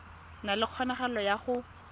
na le kgonagalo ya go